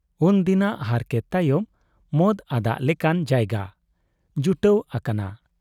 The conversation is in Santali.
ᱩᱱᱫᱤᱱᱟᱜ ᱦᱟᱨᱠᱮᱛ ᱛᱟᱭᱚᱢ ᱢᱚᱫ ᱟᱫᱟᱜ ᱞᱮᱠᱟᱱ ᱡᱟᱭᱜᱟ ᱡᱩᱴᱟᱹᱣ ᱟᱠᱟᱱᱟ ᱾